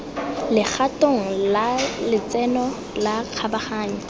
legatong la letseno la kgabaganyo